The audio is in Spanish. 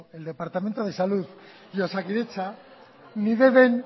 el departamento de salud y osakidetza ni deben